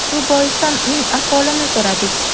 Shu boisdan uning ahvolini so‘radik.